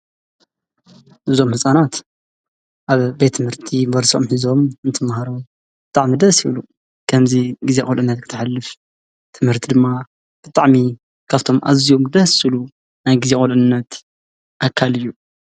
እዞም ህፃናት አብ ቤት ትምህርቲ በርሶኦም ሒዞም እንትመሃሩ ብጣዕሚ ደስ ይብሉ፡፡ ከምዚ ግዜ ቁልዕነት ክተሕልፍ ትምህርቲ ድማ ብጣዕሚ ካብቶም አዝዮም ደስ ዝብሉ ናይ ግዜ ቁልዕነት አካል እዩ፡፡